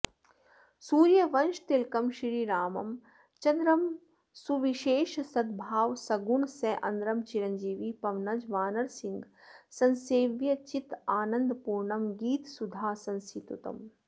सूर्यवंशतिलकं श्रीराम चन्द्रं सुविशेष सद्भाव सुगुणसान्द्रं चिरञ्जीवि पवनज वानरसिंह संसेव्यं चिदानन्दपूर्णं गीतसुधासंस्तुत्यम्